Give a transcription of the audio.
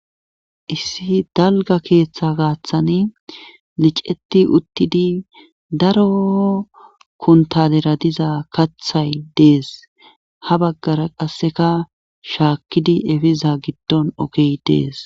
Issi dalga keeththe gaaththani liceti uttidi daro kuntalera diza kathay dees ha baggara qasseka shaakkidi efiza giddon okey dees